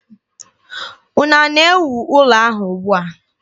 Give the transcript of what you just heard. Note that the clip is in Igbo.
Unu na-ewu ụlọ ahụ ugbua?